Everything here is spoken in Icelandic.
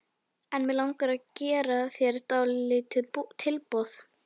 En mig langar að gera þér dálítið tilboð.